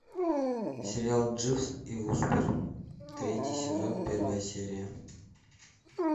сериал дживс и вустер третий сезон первая серия